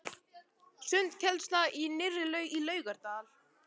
Sundkennsla í nýrri laug í Laugardal.